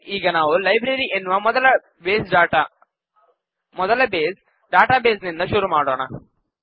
ಸರಿ ಈಗ ನಾವು ಲೈಬ್ರರಿ ಎನ್ನುವ ಮೊದಲ ಬೇಸ್ ಡಾಟಾ ಬೇಸ್ ನಿಂದ ಶುರು ಮಾಡೋಣ